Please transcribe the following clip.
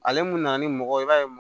Ale mun nana ni mɔgɔ ye i b'a ye